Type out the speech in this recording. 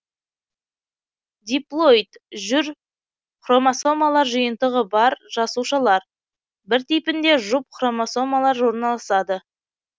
диплоид жүр хромасомалар жиынтығы бар жасушалар бір типінде жұп хромасомалар орналасады